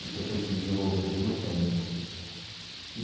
Isso aí foi se desenvolvendo com o tempo.